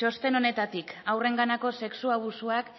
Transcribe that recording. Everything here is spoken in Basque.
txosten honetatik haurrenganako sexu abusuak